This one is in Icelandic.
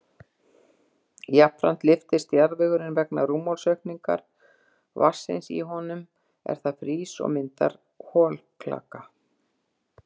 Jafnframt lyftist jarðvegurinn vegna rúmmálsaukningar vatnsins í honum er það frýs og myndar holklaka.